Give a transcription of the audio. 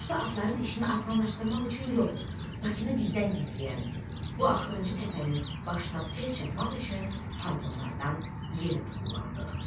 Yoxuşda atların işini asanlaşdırmaq üçün yox, Bakını bizdən gizləyən bu axırıncı təpənin başına tez çatmaq üçün faytonlardan yerə tullandıq.